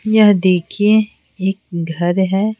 यह देखिए एक घर है।